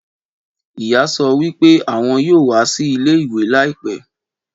Ìyá sọ wípé àwọn yóò wá sí ilé ìwé laipẹ́